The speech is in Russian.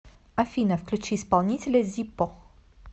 афина включи исполнителя зиппо